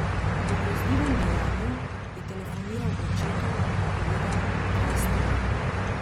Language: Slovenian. Po grozljivem dejanju je telefoniral očetu in povedal, kaj je storil.